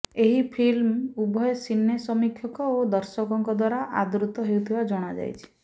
ଏହି ଫିଲ୍ମ ଉଭୟ ସିନେ ସମୀକ୍ଷକ ଓ ଦର୍ଶକଙ୍କ ଦ୍ୱାରା ଆଦୃତ ହେଉଥିବା ଜଣାଯାଇଛି